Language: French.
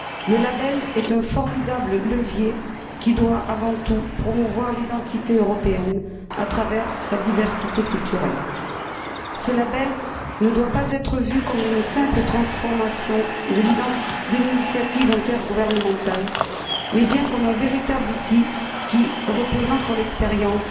Le label est un formidable levier qui doit avant tout promouvoir l'identité européenne à travers sa diversité culturelle. Ce label ne doit pas être vu comme une simple transformation de l'initiative intergouvernementale mais bien comme un véritable outil qui, reposant sur l'expérience,